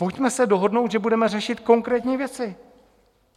Pojďme se dohodnout, že budeme řešit konkrétní věci.